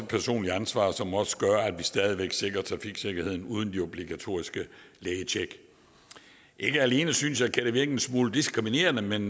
personligt ansvar som også gør at vi stadig væk sikrer trafiksikkerheden uden de obligatoriske lægetjek ikke alene synes jeg kan det virke en smule diskriminerende men